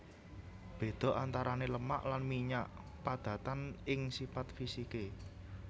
Béda antarané lemak lan minyak padatan ing sipat fisiké